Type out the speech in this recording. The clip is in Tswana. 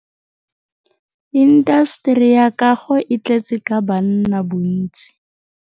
Intaseteri ya kago e tletse ka banna bontsi.